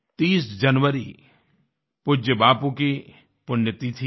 30 जनवरी पूज्य बापू की पुण्यतिथि है